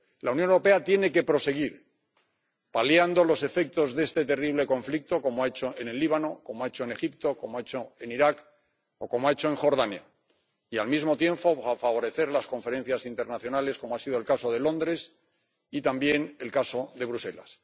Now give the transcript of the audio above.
La Unión Europea tiene que seguir paliando los efectos de este terrible conflicto, como ha hecho en el Líbano, como ha hecho en Egipto, como ha hecho en Irak o como ha hecho en Jordania, y, al mismo tiempo, favorecer las conferencias internacionales, como ha sido el caso de Londres y también el caso de Bruselas.